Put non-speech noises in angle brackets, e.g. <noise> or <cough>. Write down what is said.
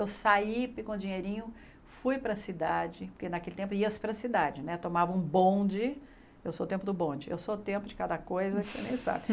Eu saí e com o dinheirinho, fui para a cidade, porque naquele tempo ia-se para a cidade, tomava um bonde, eu sou o tempo do bonde, eu sou o tempo de cada coisa que você nem sabe. <laughs>